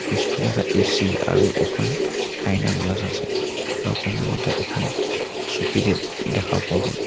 পিছফালে এটা এ_চি আৰু এখন আইনাৰ গ্লাচ আছে আৰু সন্মুখতে এখন চকী দে দেখা পোৱা গ'ল।